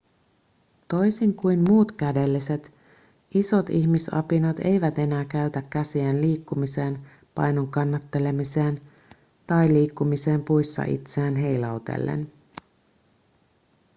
toisin kuin muut kädelliset isot ihmisapinat eivät enää käytä käsiään liikkumiseen painon kannattelemiseen tai liikkumiseen puissa itseään heilautellen